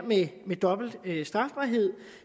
med dobbelt strafbarhed